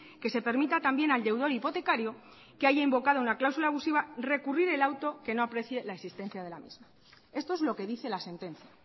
que se permita también al deudor hipotecario que haya invocado una cláusula abusiva recurrir el auto que no aprecie la existencia de la misma esto es lo que dice la sentencia